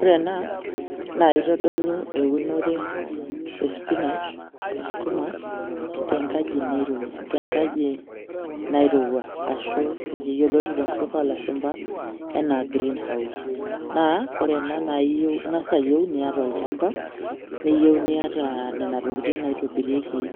Ore ena naa kitodolu eunore e spinach oskuma tenkaji nairo, tenkaji nairowua ashu iyioloti tenkutuk olashumba anaa green house. Naa ore enaa naa ingas ayieu niata olchamba , neyieu niata nena tokitin naitobirieki